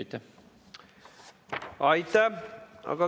Aitäh!